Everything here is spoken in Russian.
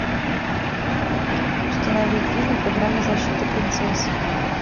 установи фильм программа защиты принцесс